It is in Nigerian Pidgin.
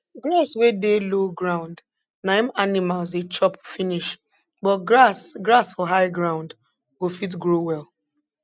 grass wey dey low ground na im animals dey chop finish but grass grass for high ground go fit grow well